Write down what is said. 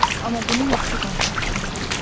Amma bunu yaxşı qonşu haqqında deyiblər.